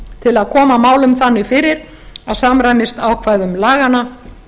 til að koma málum þannig fyrir að samræmist ákvæðum laganna